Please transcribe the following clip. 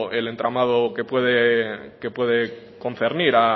el entramado que puede concernir